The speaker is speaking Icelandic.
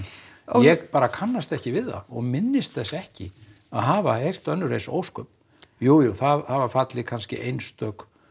ég bara kannast ekki við það og minnist þess ekki að hafa heyrt önnur eins ósköp jújú það hafa fallið kannski einstök